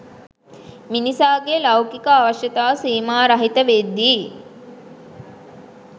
මිනිසාගේ ලෞකික අවශ්‍යතා සීමා රහිත වෙද්දී